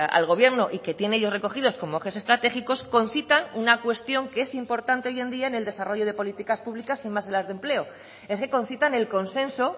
al gobierno y que tienen ellos recogidos como ejes estratégicos concitan una cuestión que es importante hoy en día en el desarrollo de políticas públicas y más en las de empleo es que concitan el consenso